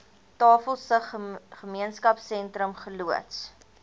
tafelsig gemeenskapsentrum geloods